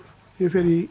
ég fer í